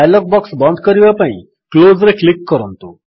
dialog box ବନ୍ଦ କରିବା ପାଇଁ Closeରେ କ୍ଲିକ୍ କରନ୍ତୁ